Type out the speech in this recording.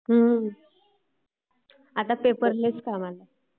हम्म्म...आता paperless